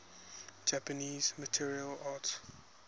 japanese martial arts